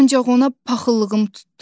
Ancaq ona paxıllığım tutdu.